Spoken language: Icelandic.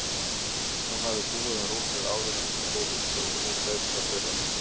Hún hafði búið um rúmið áður en hún fór út og nú beið það þeirra.